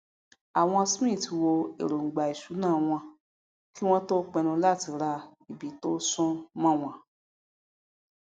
àwọn smith wo èròngbà ìṣúná wọn kí wọn tó pinnu láti ra ibi tó sún mọnwọn